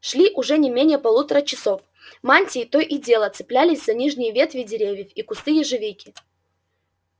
шли уже не менее полутора часов мантии то и дело цеплялись за нижние ветви деревьев и кусты ежевики